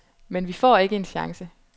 Men vi får ikke en chance.